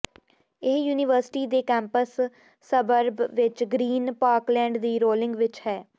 ਇਹ ਯੂਨੀਵਰਸਿਟੀ ਦੇ campus suburb ਵਿੱਚ ਗ੍ਰੀਨ ਪਾਰਕਲੈਂਡ ਦੀ ਰੋਲਿੰਗ ਵਿੱਚ ਹੈ